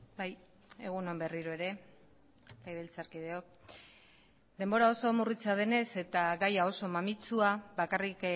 bai egun on berriro ere legebiltzarkideok denbora oso murritza denez eta gaia oso mamitsua bakarrik